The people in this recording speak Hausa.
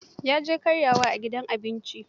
Ya je karyawa a gidan abinci.